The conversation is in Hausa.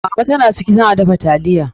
Mama ta na ciki, ta na dafa taliya.